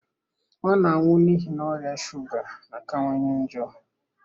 Ọ na-anwụ n'ihi, na ọrịa shuga na-akawanye njọ.